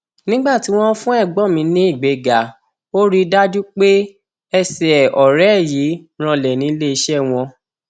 nígbà tí wọn fún ẹgbọn mi ní ìgbéga ò rí i dájú pé ẹsẹ ọrẹ ẹ yìí ranlẹ níléeṣẹ wọn